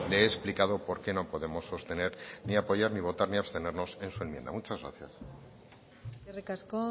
le he explicado por qué no podemos sostener ni apoyar ni votar ni abstenernos en su enmienda muchas gracias eskerrik asko